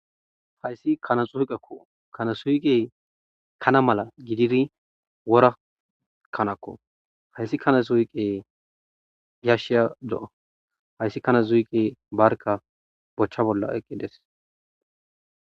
hayssi kana xuhqakko kana suyqe kana mala gidiri wora kanakko hayssi kana zuyqe yashiya do7a hayssi kana zuiqe barka bochcha bolla eqqides